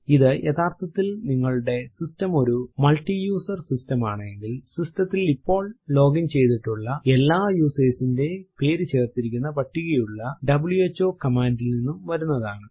ഇത് യഥാർത്ഥത്തിൽ നിങ്ങളുടെ സിസ്റ്റം ഒരു മൾട്ടിയസർ സിസ്റ്റം ആണെങ്കിൽ സിസ്റ്റം ത്തിൽ ഇപ്പോൾ ലോഗിൻ ചെയ്തിട്ടുള്ള എല്ലാ യൂസർസ് ന്റെയും പേരു ചേർത്തിരിക്കുന്ന പട്ടികയുള്ള വ്ഹോ കമാൻഡ് ൽ നിന്നും വരുന്നതാണ്